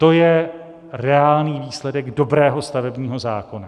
To je reálný výsledek dobrého stavebního zákona.